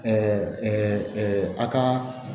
a ka